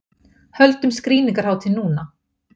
Höldum skrýningarhátíð núna!